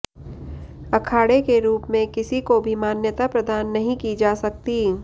अखाड़े के रूप में किसी को भी मान्यता प्रदान नहीं की जा सकती